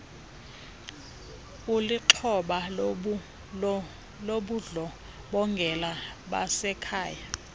ulixhoba lobundlobongela basekhaya